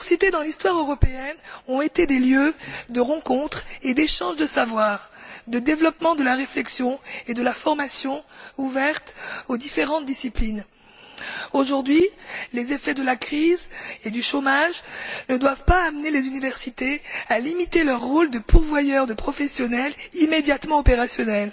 Dans l'histoire européenne, les universités ont toujours été des lieux de rencontre et d'échange de savoir, de développement de la réflexion et de la formation ouverts aux différentes disciplines. Aujourd'hui, les effets de la crise et du chômage ne doivent pas amener les universités à limiter leur rôle de pourvoyeur de professionnels immédiatement opérationnels